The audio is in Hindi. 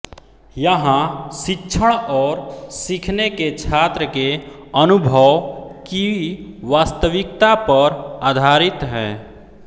यहां शिक्षण और सीखने के छात्र के अनुभव की वास्तविकता पर आधारित है